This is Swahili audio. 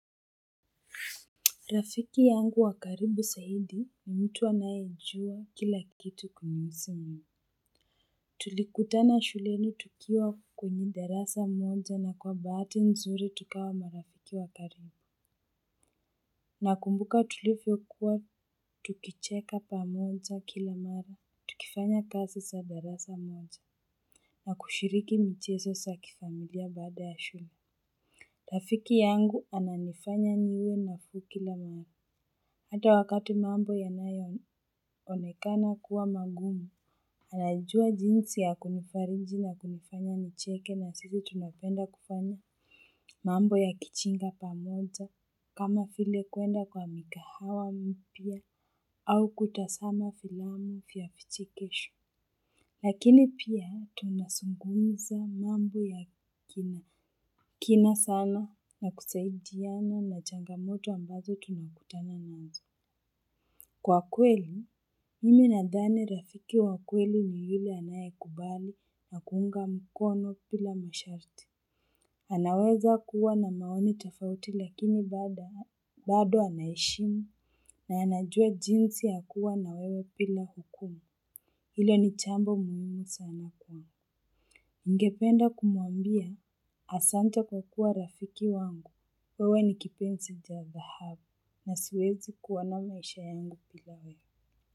Rafiki yangu wa karibu zaidi ni mtu anayejua kila kitu kunihusu mimi. Tulikutana shuleni tukiwa kwenye darasa moja na kwa bahati nzuri tukawa marafiki wa karibu. Nakumbuka tulivyokuwa tukicheka pamoja kila mara, tukifanya kazi za darasa moja, na kushiriki michezo za kifamilia baada ya shule. Rafiki yangu ananifanya niwe nafuu kila mara. Ata wakati mambo yanayo onekana kuwa magumu, anajua jinsi ya kunifariji na kunifanya nicheke na sisi tunapenda kufanya mambo ya kijinga pamoja kama vile kuenda kwa mikahawa mpya au kutazama filamu vya vichekesho. Lakini pia tunazungumza mambo ya kina sana na kusaidiana na changamoto ambazo tunakutana nazo. Kwa kweli, mimi nadhani rafiki wa kweli ni yule anayekubali na kuunga mkono bila masharti. Anaweza kuwa na maoni tofauti lakini bado anaheshimu na anajua jinsi ya kuwa na wewe bila hukumu. Hilo ni jambo muhimu sana kwangu. Ningependa kumuambia asante kwa kuwa rafiki wangu, wewe ni kipenzi cha dhahabu na siwezi kuona maisha yangu bila wewe.